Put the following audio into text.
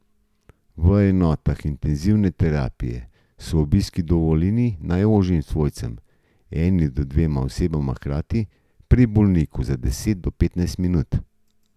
V enotah intenzivne terapije so obiski dovoljeni najožjim svojcem, eni do dvema osebama hkrati pri bolniku za deset do petnajst minut.